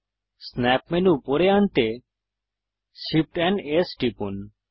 snap menu উপরে আনতে Shift এএমপি S টিপুন